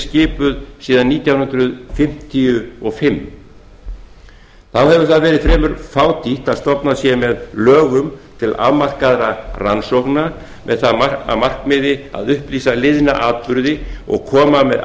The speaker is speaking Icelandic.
skipuð síðan nítján hundruð fimmtíu og fimm þá hefur verið fremur fátítt að stofnað sé með lögum til afmarkaðra rannsókna með það að markmiði að upplýsa liðna atburði og koma með